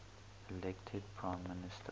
elected prime minister